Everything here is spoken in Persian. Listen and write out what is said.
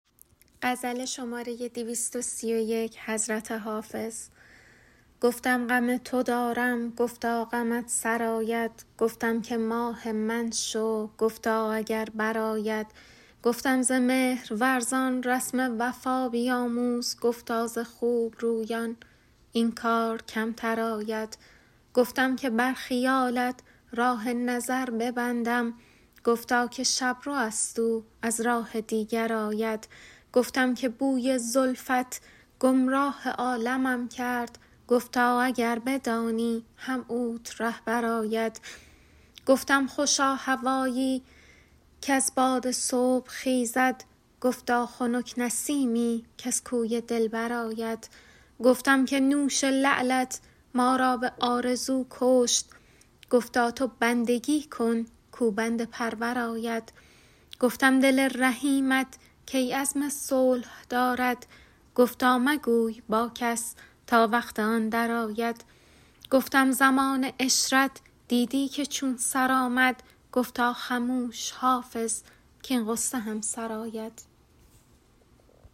گفتم غم تو دارم گفتا غمت سرآید گفتم که ماه من شو گفتا اگر برآید گفتم ز مهرورزان رسم وفا بیاموز گفتا ز خوب رویان این کار کمتر آید گفتم که بر خیالت راه نظر ببندم گفتا که شب رو است او از راه دیگر آید گفتم که بوی زلفت گمراه عالمم کرد گفتا اگر بدانی هم اوت رهبر آید گفتم خوشا هوایی کز باد صبح خیزد گفتا خنک نسیمی کز کوی دلبر آید گفتم که نوش لعلت ما را به آرزو کشت گفتا تو بندگی کن کاو بنده پرور آید گفتم دل رحیمت کی عزم صلح دارد گفتا مگوی با کس تا وقت آن درآید گفتم زمان عشرت دیدی که چون سر آمد گفتا خموش حافظ کـاین غصه هم سر آید